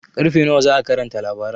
Ƙarfe nawa za'a karanta labaran?